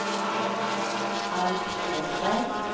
Alf Åsberg